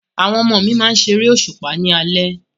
Àwọn ọmọ mi máa ṣe eré òṣùpá ni alẹ́